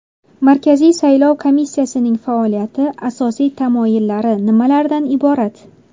Markaziy saylov komissiyasining faoliyati asosiy tamoyillari nimalardan iborat?.